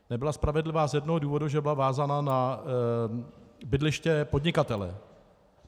Nebyla spravedlivá z jednoho důvodu, že byla vázána na bydliště podnikatele.